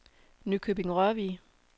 Nykøbing-Rørvig